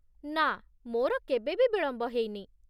ନାଁ, ମୋର କେବେ ବି ବିଳମ୍ବ ହେଇନି।